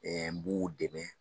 n b'u dɛmɛ.